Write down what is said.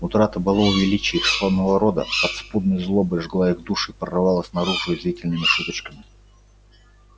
утрата былого величия их славного рода подспудной злобой жгла их души прорывалась наружу язвительными шуточками